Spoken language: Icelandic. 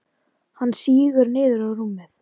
Hann sígur niður á rúmið.